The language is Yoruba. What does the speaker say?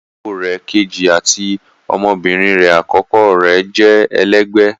Iyàwọ rè̀ kẹjì àti ọmọbirin rè akọkọ rè jẹ́ èlẹgbẹ